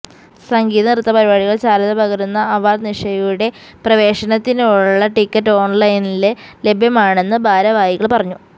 സംഗീത നൃത്ത പരിപാടികള് ചാരുതപകരുന്ന അവാര്ഡ് നിശയുടെ പ്രവേശനത്തിനുള്ള ടിക്കറ്റ് ഓണ്ലൈനില് ലഭ്യമാണെന്ന് ഭാരവാഹികള് പറഞ്ഞു